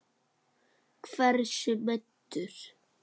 Hversu meiddur?